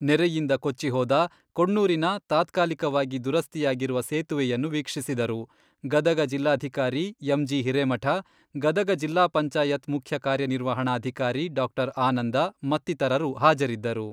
ನೆರೆಯಿಂದ ಕೊಚ್ಚಿ ಹೋದ ಕೊಣ್ಣೂರಿನ ತಾತ್ಕಾಲಿಕವಾಗಿ ದುರಸ್ತಿಯಾಗಿರುವ ಸೇತುವೆಯನ್ನು ವೀಕ್ಷಿಸಿದರು, ಗದಗ ಜಿಲ್ಲಾಧಿಕಾರಿ ಎಂ.ಜಿ.ಹಿರೇಮಠ, ಗದಗ ಜಿಲ್ಲಾ ಪಂಚಾಯತ್ ಮುಖ್ಯ ಕಾರ್ಯನಿರ್ವಹಣಾಧಿಕಾರಿ ಡಾ.ಆನಂದ ಮತ್ತಿತರರು ಹಾಜರಿದ್ದರು.